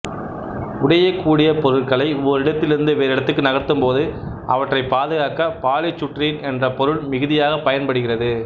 உடையக்கூடிய பொருட்களை ஓரிடத்தில் இருந்து வேறு இடத்துக்கு நகர்த்தும்போது அவற்றைப் பாதுகாக்க பாலிசுட்டிரீன் என்ற பொருள் மிகுதியாகப் பயன்படுகிறது